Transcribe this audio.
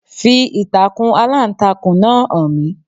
Fi ìtàkùn Aláǹtakùn náà hàn mí.